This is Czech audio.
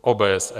OBSE.